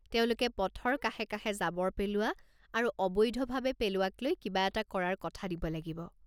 তেওঁলোকে পথৰ কাষে কাষে জাবৰ পেলোৱা আৰু অবৈধভাৱে পেলোৱাক লৈ কিবা এটা কৰাৰ কথা দিব লাগিব।